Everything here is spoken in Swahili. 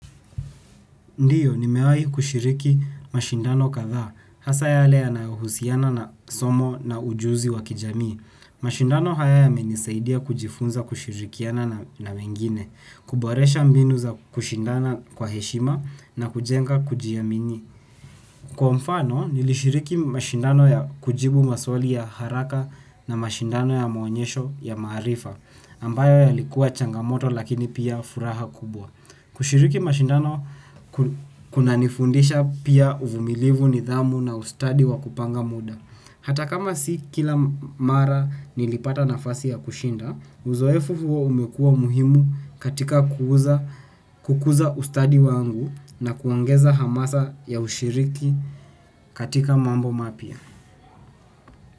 Ndiyo, nimewai kushiriki mashindano kadhaa, hasa yale yanahusiana na somo na ujuzi wa kijamii. Mashindano haya yamenisaidia kujifunza kushirikiana na wengine, kuboresha mbinu za kushindana kwa heshima na kujenga kujiamini. Kwa mfano, nilishiriki mashindano ya kujibu maswali ya haraka na mashindano ya maonyesho ya maarifa, ambayo yalikuwa changamoto lakini pia furaha kubwa. Kushiriki mashindano kunanifundisha pia uvumilivu nidhamu na ustadi wa kupanga muda. Hata kama si kila mara nilipata nafasi ya kushinda, uzoefu huo umekua muhimu katika kukuza ustadi wangu na kuongeza hamasa ya ushiriki katika mambo mapya.